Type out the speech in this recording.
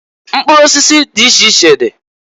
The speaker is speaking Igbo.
Mkpụrụ osisi di iche iche dị